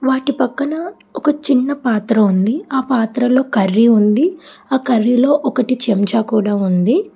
అటు పక్కన ఒక చిన్న పాత్ర ఉంది ఆ పాత్రలో కర్రీ ఉంది ఆ కర్రీ లో ఒకటి చెంచా కూడా ఉంది.